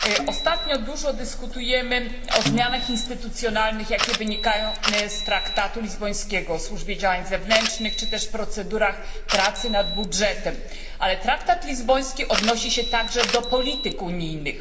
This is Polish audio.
Ostatnio dużo dyskutujemy o zmianach instytucjonalnych, jakie wynikają z traktatu lizbońskiego o służbie działań zewnętrznych czy też o procedurach pracy nad budżetem, ale traktat lizboński odnosi się także do polityk unijnych.